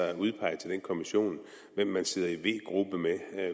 er udpeget til den kommission hvem man sidder i v gruppe med